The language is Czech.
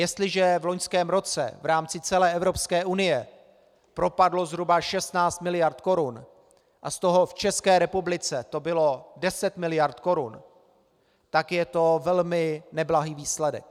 Jestliže v loňském roce v rámci celé Evropské unie propadlo zhruba 16 miliard korun a z toho v České republice to bylo 10 miliard korun, tak je to velmi neblahý výsledek.